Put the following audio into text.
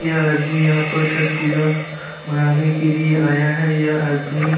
यह आदमी यहाँ पर छठ पूजा मनाने के लिए आया है। यह आदमी --